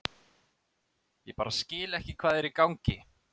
Ég bara skil ekki hvað er í gangi.